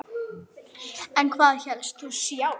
En hvað hélst þú sjálf?